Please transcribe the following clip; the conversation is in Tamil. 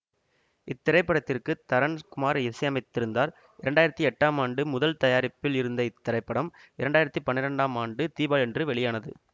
இத்திரைப்படத்திற்கு தரன் குமார் இசையமைத்திருந்தார் இரண்டு ஆயிரத்தி எட்டாம் ஆண்டு முதல் தயாரிப்பில் இருந்த இத்திரைப்படம் இரண்டு ஆயிரத்தி பன்னிரெண்டாம் ஆண்டு தீபாவளியன்று வெளியானது